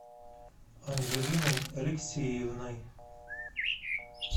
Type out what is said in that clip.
анжелиной алексеевной